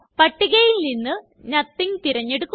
പട്ടികയില് നിന്ന് നോത്തിങ് തിരഞ്ഞെടുക്കുക